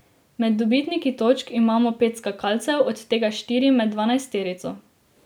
Med dobitniki točk imamo pet skakalcev, od tega štiri med dvanajsterico.